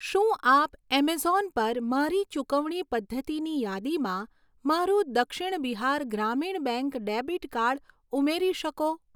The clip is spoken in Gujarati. શું આપ એમેઝોન પર મારી ચુકવણી પદ્ધતિની યાદીમાં મારું Dakshin Bihar Gramin bank debit card ઉમેરી શકો